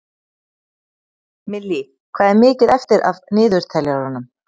Millý, hvað er mikið eftir af niðurteljaranum?